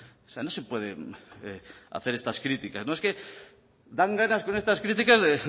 o sea no se puede hacer estas críticas es que dan ganas con estas críticas de